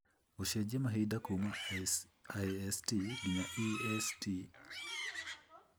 gũcenjia mahinda kuuma ist nginya e. s. t.